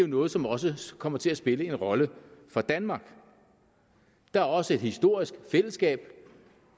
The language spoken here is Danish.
noget som også kommer til at spille en rolle for danmark der er også et historisk fællesskab